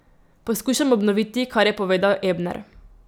Poskušam obnoviti, kar je povedal Ebner.